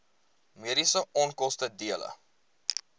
mediese onkoste dele